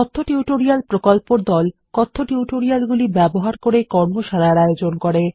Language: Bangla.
কথ্য টিউটোরিয়াল প্রকল্পর দল কথ্য টিউটোরিয়ালগুলি ব্যবহার করে কর্মশালার আয়োজন করে